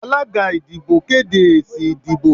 alagá ìdíbò kedé ésí ìdíbò